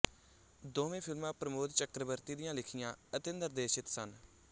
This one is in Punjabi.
ਦੋਵੇਂ ਫਿਲਮਾਂ ਪ੍ਰਮੋਦ ਚੱਕਰਬਰਤੀ ਦੀਆਂ ਲਿਖੀਆਂ ਅਤੇ ਨਿਰਦੇਸ਼ਿਤ ਸਨ